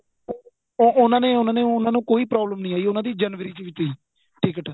ਉਹਨਾ ਨੇ ਉਹਨਾ ਨੇ ਉਹਨਾ ਨੂੰ ਕੋਈ problem ਨਹੀਂ ਆਈ ਉਹਨਾ ਦੀ ਜਨਵਰੀ ਵਿੱਚ ਸੀ ticket